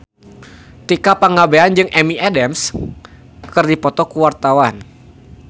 Tika Pangabean jeung Amy Adams keur dipoto ku wartawan